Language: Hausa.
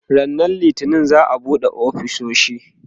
ranan littani za'a buɗe ofisoshi